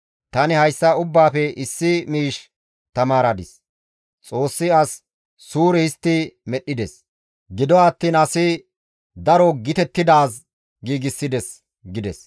Tani hayssa ubbaafe issi miish tamaaradis; Xoossi as suure histti medhdhides; gido attiin asi daro gitettidaaz giigsides» gides.